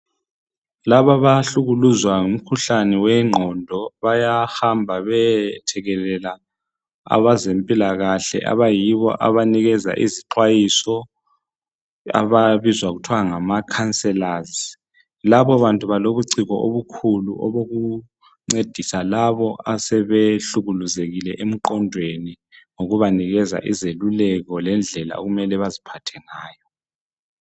Laba abahlukuluzwa ngumkhuhlane wengqondo bayahamba beyethekelela abezempilakahle abayibo abanikeza izixwayiso ababizwa kuthiwa ngama counselors labo bantu balobuciko obukhulu obokuncedisa labo asebehlukuluzekile emqondweni ngokubanikeza izeluleko lendlela okumele baziphathe ngayo.